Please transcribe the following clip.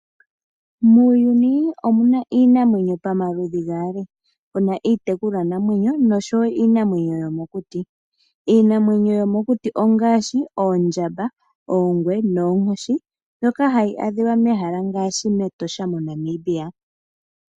Muuyuni omu na iinamwenyo pamaludhi gaali ngaashi iitekulwanamwenyo nosho iinamwenyo yomokuti. Iinamwenyo yomokuti ongaashi oondjamba, oongwe noonkoshi ndhoka hadhi adhiwa mehala ngaashi mEtosha moNamibia.